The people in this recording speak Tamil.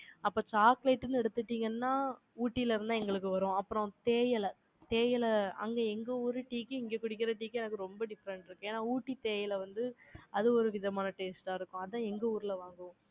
அப்ப, chocolate ன்னு எடுத்துட்டீங்கன்னா, ஊட்டியில இருந்துதான், எங்களுக்கு வரும். அப்புறம், தேயிலை தேயிலை அங்க எங்க ஊர் tea க்கு, இங்க குடிக்கிற tea க்கு, எனக்கு ரொம்ப different இருக்கு. ஏன்னா, ஊட்டி தேயிலை வந்து, அது ஒரு விதமான taste ஆ இருக்கும். அதான், எங்க ஊர்ல வாங்குவோம்.